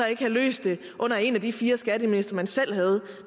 ikke have løst det under en af de fire skatteministre man selv havde